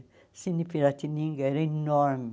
O Cine Piratininga era enorme.